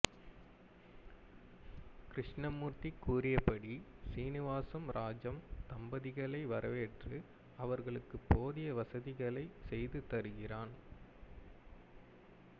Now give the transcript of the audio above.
கிருஷ்ணமூர்த்தி கூறியபடி சீனிவாசம் ராஜம் தம்பதிகளை வரவேற்று அவர்களுக்கு போதிய வசதிகளை செய்து தருகிறான்